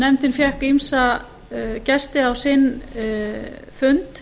nefndin fékk ýmsa gesti á sinn fund